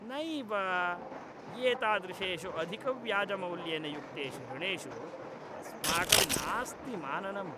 नैव, एतादृशेषु अधिकव्याजमौल्येन युक्तेषु ऋणेषु अस्माकं नास्ति माननम्।